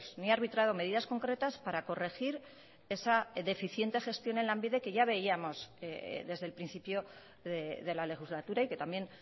ni ha arbitrado medidas concretas para corregir esa deficiente gestión en lanbide que ya veíamos desde el principio de la legislatura y que también